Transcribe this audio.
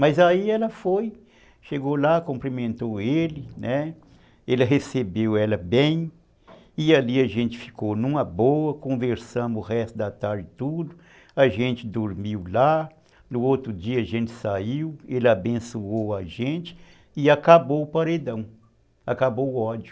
Mas aí ela foi, chegou lá, cumprimentou ele, né, ele recebeu ela bem, e ali a gente ficou numa boa, conversamos o resto da tarde tudo, a gente dormiu lá, no outro dia a gente saiu, ele abençoou a gente, e acabou o paredão, acabou o ódio.